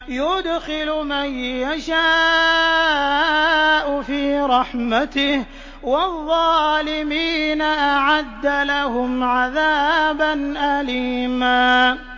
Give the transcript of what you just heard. يُدْخِلُ مَن يَشَاءُ فِي رَحْمَتِهِ ۚ وَالظَّالِمِينَ أَعَدَّ لَهُمْ عَذَابًا أَلِيمًا